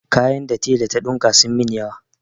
Kaya da tela ta ɗinka sun min yawa.